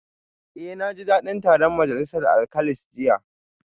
Eh naji dadin taron majalisar alkalis jiya